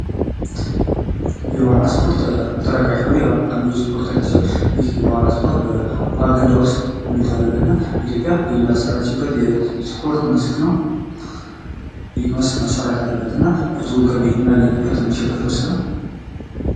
የዋና ስፖርት ተጠቃሽ የሆነ አንዱ የስፖርት አይነት